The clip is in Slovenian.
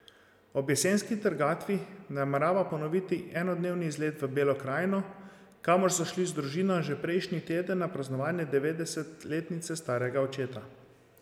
Ob jesenski trgatvi namerava ponoviti enodnevni izlet v Belo krajino, kamor so šli z družino že prejšnji teden na praznovanje devetdesetletnice starega očeta.